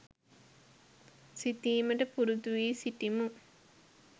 සිතීමට පුරුදුවී සිටිමු